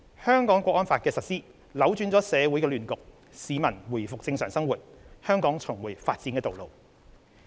《香港國安法》的實施，扭轉了社會亂局，市民回復正常生活，香港重回發展的道路。